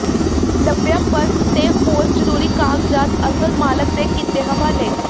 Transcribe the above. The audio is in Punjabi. ਲੱਭਿਆ ਪਰਸ ਤੇ ਹੋਰ ਜ਼ਰੂਰੀ ਕਾਗਜ਼ਾਤ ਅਸਲ ਮਾਲਕ ਦੇ ਕੀਤੇ ਹਵਾਲੇ